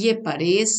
Je pa res,